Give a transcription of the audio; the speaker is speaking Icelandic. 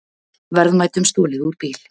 Verðmætum stolið úr bíl